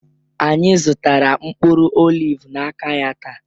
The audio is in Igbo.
Anyị zụtara mkpụrụ oliv n'aka ya taa